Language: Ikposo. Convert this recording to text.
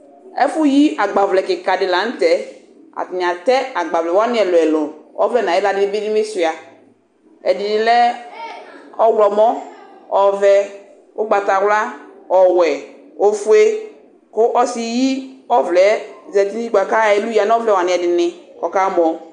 Ɛfʊyɩ agbavlɛdɩ lanʊtɛ atanɩ atɛ agbavlɛ ɛlʊɛlʊ ɔvlɛ nʊ ayɩxla bɩ suia ɛdɩnɩlɛ ɔwlɔmɔ ɔvɛ ʊgbatawla ɔwɛ ofuɛ kʊ ɔsɩyɩ ɔvlɛ zatɩ bʊakʊ ayɔ ɛlʊ yanʊ ɔvlɛ wanɩ ɛdɩnɩ kʊ akamɔ